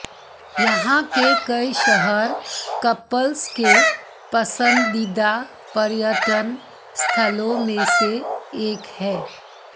यहां के कई शहर कपल्स के पसंदीदा पर्यटन स्थलों में से एक है